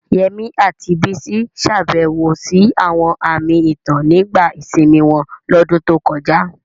Yemi àti Bisi ṣàbẹ̀wò sí àwọn àmì ìtàn nígbà ìsinmi wọn lọ́dún tó kọjá.